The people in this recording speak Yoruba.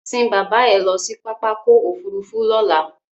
Sín bàbá ẹ lọ sí pápákọ̀ òfurufú lọ́là!